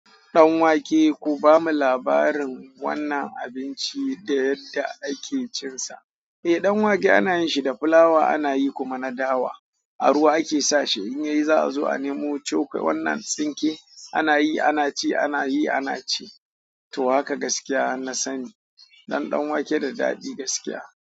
Ɗanwake ku bamu labarin wannan abinci da yadda ake cinsa. Eh, ɗanwake ana yin shi da fulawa ana yi kuma na dawa. A ruwa ake sa shi in yayi za a zo a nemo choko wannan tsinke ana yi, ana ci, ana yi, ana ci. To haka gaskiya na sani. Ɗanwake da daɗi gaskiya.